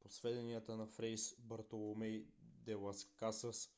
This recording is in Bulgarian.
по сведенията на фрей бартоломей де лас касас